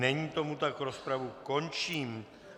Není tomu tak, rozpravu končím.